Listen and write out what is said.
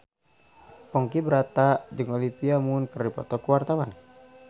Ponky Brata jeung Olivia Munn keur dipoto ku wartawan